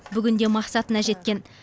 бүгінде мақсатына жеткен